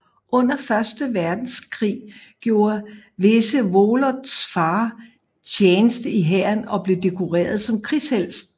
Under Første Verdenskrig gjorde Vsevolods far tjeneste i hæren og blev dekoreret som krigshelt